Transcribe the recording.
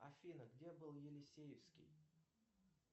афина где был елисеевский